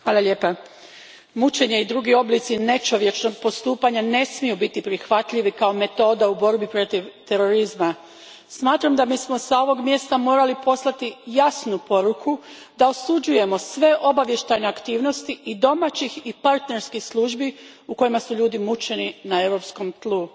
Gospodine predsjedniče, mučenje i drugi oblici nečovječnog postupanja ne smiju biti prihvatljivi kao metoda u borbi protiv terorizma. Smatram da bismo s ovog mjesta morali poslati jasnu poruku da osuđujemo sve obavještajne aktivnosti i domaćih i partnerskih službi u kojima su ljudi mučeni na europskom tlu.